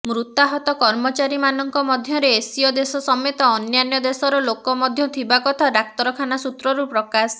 ମୃତାହତ କର୍ମଚାରୀମାନଙ୍କ ମଧ୍ୟରେ ଏସୀୟ ଦେଶ ସମେତ ଅନ୍ୟାନ୍ୟ ଦେଶର ଲୋକ ମଧ୍ୟ ଥିବା କଥା ଡାକ୍ତରଖାନାସୂତ୍ରରୁ ପ୍ରକାଶ